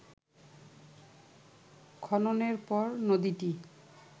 খননের পর নদীটি